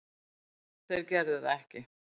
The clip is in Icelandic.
Þeir gerðu það ekki